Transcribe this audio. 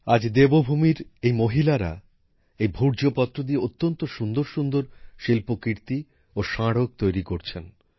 আজ দেবভূমির এই মহিলারা এই ভূর্জপত্র দিয়ে অত্যন্ত সুন্দর সুন্দর শিল্পকীর্তি ও স্মারক তৈরি করছেন